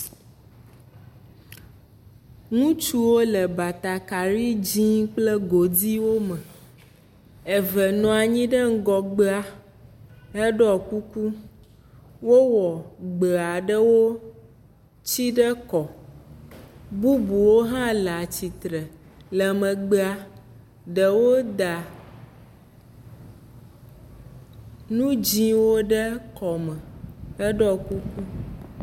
Ŋutsuwo le batakari dzɛ̃ kple godiwo me. Eve nɔ anyi ɖe ŋgɔgbea heɖɔ kuku. Wowɔ gbe aɖewo tsi ɖe kɔ. Bubu aɖewo hã le atsitre le megbea. Ɖewo da nu dzɛ̃wo ɖe kɔme heɖɔ kuku.